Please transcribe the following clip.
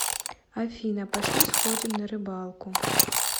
афина пошли сходим на рыбалку